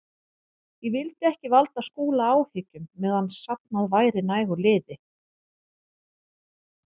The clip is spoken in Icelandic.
Ég vildi ekki valda Skúla áhyggjum meðan safnað væri nægu liði.